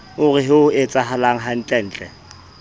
o re ho etsahalang hantlentle